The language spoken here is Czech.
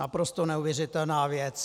Naprosto neuvěřitelná věc.